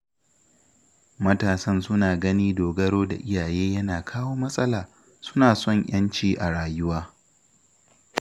Matasan suna ganin dogaro da iyaye yana kawo matsala, suna son 'yanci a rayuwa